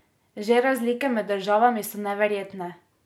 Že razlike med državami so neverjetne!